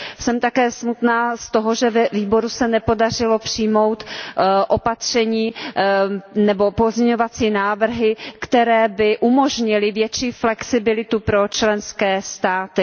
Jsem také smutná z toho, že ve výboru se nepodařilo přijmout opatření nebo pozměňovací návrhy, které by umožnily větší flexibilitu pro členské státy.